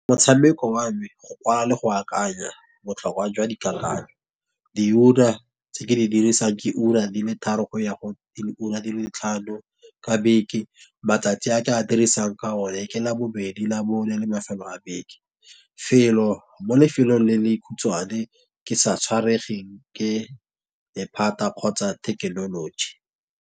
Motshameko wa me, go kwala le go akanya botlhokwa jwa dikakanyo. Di ura tse ke di dirisang ke ura di le tharo go ya go le ura di le tlhano, ka beke. Matsatsi a ka dirisang ka o ne ke la bobedi, labone le mafelo a beke. Felo mo lefelong le le dikhutshwane ke sa tshwaregeng ke lephata kgotsa thekenoloji.